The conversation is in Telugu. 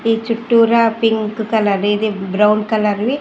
ఈ చుట్టూరా పింక్ బ్రౌన్ కలర్వీ .